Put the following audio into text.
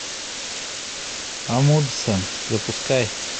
амундсен запускай